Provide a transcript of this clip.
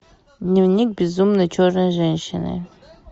дневник безумной черной женщины